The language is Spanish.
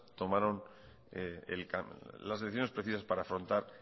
tomaron las decisiones precisas para afrontar